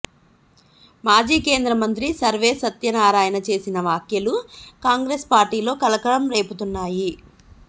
మాజీ కేంద్ర మంత్రి సర్వే సత్యనారాయణ చేసిన వ్యాఖ్యలు కాంగ్రెస్ పార్టీలో కలకలం రేపుతున్నాయ్